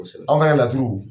An' laturu